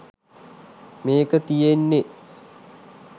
මේක තියන්නෙ.